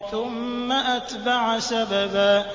ثُمَّ أَتْبَعَ سَبَبًا